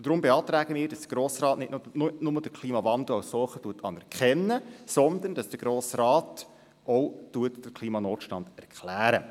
Deshalb beantragen wir, dass der Grosse Rat nicht nur den Klimawandel als solchen anerkennt, sondern dass er auch den Klimanotstand erklärt.